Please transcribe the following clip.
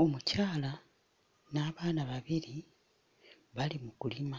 Omukyala n'abaana babiri bali mu kulima